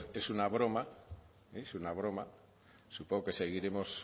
esto es una broma es una broma supongo que seguiremos